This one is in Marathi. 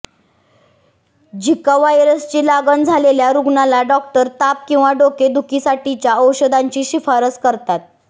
झिका व्हायरसची लागण झालेल्या रुग्णांला डॉक्टर ताप किंवा डोके दुखीसाठीच्या औषधाची शिफारस करतात